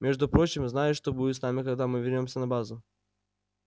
между прочим знаешь что будет с нами когда мы вернёмся на базу